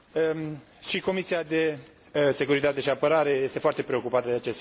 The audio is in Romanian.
Și Comisia de securitate și apărare este foarte preocupată de acest subiect.